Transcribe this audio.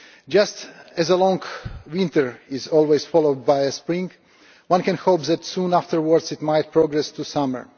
Just as a long winter is always followed by a spring, one can hope that soon afterwards it might progress to summer.